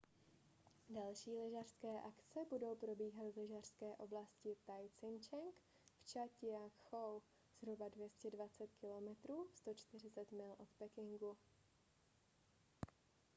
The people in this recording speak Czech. další lyžařské akce budou probíhat v lyžařské oblasti taizicheng v čang-ťia-kchou zhruba 220 km 140 mil od pekingu